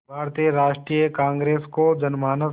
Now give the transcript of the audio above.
भारतीय राष्ट्रीय कांग्रेस को जनमानस